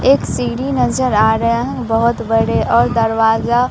एक सीढ़ी नजर आ रहा है बहोत बड़े और दरवाजा--